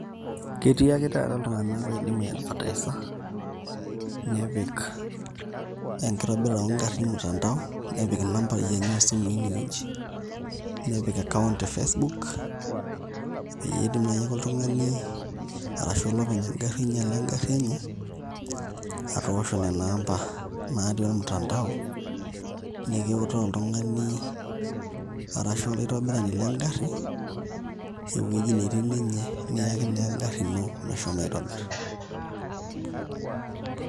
Ketii ake taata iltung'anak oidim aiadvertisa nepik enkitobirata oo ngarrin mtandao nepik inambai enye oosimui inewueji nepik account e Facebook peyie etum naai ake oltung'ani arashu olopeny engarri oinyiale engarri enye atoosho nena aamba naatii ormutandao nikiutaa oltung'ani arashu olaitobirani le engarri ewueji netii ninye, niya naa engarri ino meshomo aitobirr.